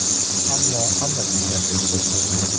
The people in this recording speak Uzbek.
Ammo hamma kutganidek bo‘lmadi.